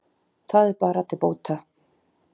Það er bara til bóta